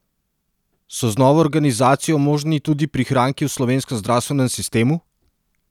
So z novo organizacijo možni tudi prihranki v slovenskem zdravstvenem sistemu?